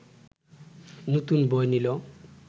নতুন বই নিল